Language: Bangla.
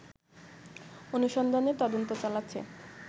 অনুসন্ধানে তদন্ত চালাচ্ছে